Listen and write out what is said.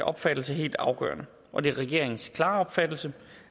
opfattelse helt afgørende og det er regeringens klare opfattelse